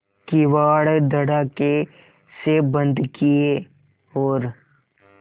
किवाड़ धड़ाकेसे बंद किये और